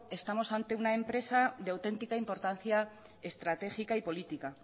estamos ante una empresa de auténtica importancia estratégica y política